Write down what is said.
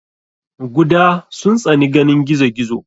guda sun tsani ganin gizo gizo.